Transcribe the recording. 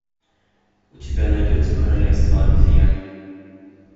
у тебя найдется королевство обезьян